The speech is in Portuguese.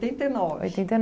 e nove. Oitenta e